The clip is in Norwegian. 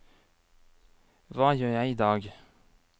hva gjør jeg idag